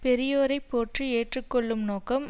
பெரியோரைப் போற்றி ஏற்றுக்கொள்ளும் நோக்கம்